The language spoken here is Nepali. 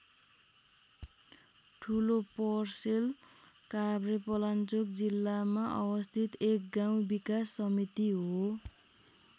ठुलोपर्सेल काभ्रेपलाञ्चोक जिल्लामा अवस्थित एक गाउँ विकास समिति हो।